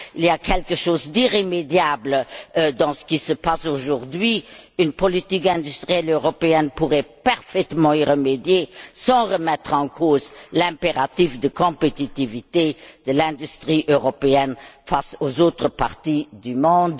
Il y a quelque chose d'irrémédiable dans ce qui se passe aujourd'hui. Une politique industrielle européenne pourrait parfaitement y remédier sans remettre en cause l'impératif de compétitivité de l'industrie européenne face aux autres parties du monde.